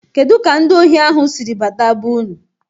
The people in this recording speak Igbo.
Kedụ ka ndị ohi ahụ sịrị bata be-ụnụ?